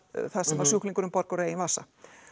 það sem að sjúklingurinn borgar úr eigin vasa